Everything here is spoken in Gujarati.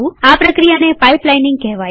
આ પ્રક્રિયાને પાઈપલાઈનીંગ કહેવાય છે